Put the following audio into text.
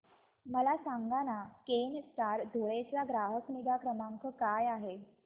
मला सांगाना केनस्टार धुळे चा ग्राहक निगा क्रमांक काय आहे